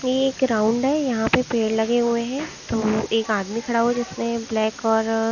ये एक ग्राउंड है यहां पे पेड़ लगे हुए है दो एक आदमी खड़ा हुआ है जिसने ब्लैक और--